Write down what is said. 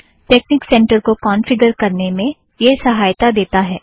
technique centre को configure करने में यह सहायता देता है